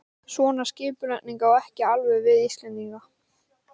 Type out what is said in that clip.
Svona skipulagning á ekki alveg við Íslendinga.